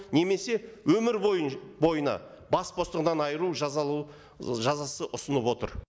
немесе өмір бойына бас бостандығынан айыру жазасы ұсынып отыр